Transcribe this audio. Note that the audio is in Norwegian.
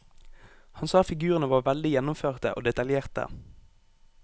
Han sa figurene var veldig gjennomførte og detaljerte.